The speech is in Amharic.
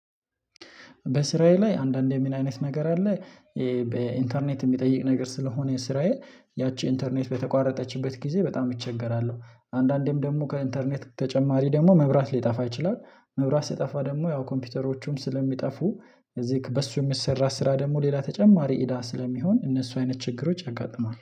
በስራዬ ላይ አንዳንዴ ምን አይነት ነገር አለ። በኢንተርኔት የሚጠይቅ ነገር ስለሆነ ስራዬ ያቺ ኢንተርኔት በተቋረጠችበት ጊዜ በጣም እቸገራለሁ። አንዳንዴም ደግሞ ከኢንተርኔት ተጨማሪ ደግሞ መብራት ሊጠፋ ይችላል። መብራት ሲጠፋ ደግሞ ያው ኮምፒውተሮቹም ስለሚጠፉ እዚህ በሱ የሚሰራ ስራ ደግሞ ሌላ ተጨማሪ ኢዳ ስለሚሆን እነሱ አይነት ችግሮች ያጋጥማል